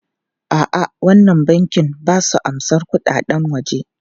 A'a, wannan bankin ba su amsan kuɗaɗen waje.